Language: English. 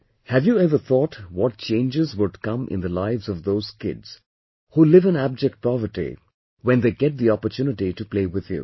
Have you ever thought what changes would come in the lives of those kids who live in abject poverty when get the opportunity to play with you